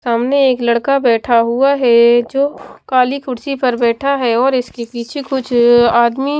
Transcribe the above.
सामने एक लड़का बैठा हुआ है जो काली कुर्सी पर बैठा है और इसके पीछे कुछ आदमी --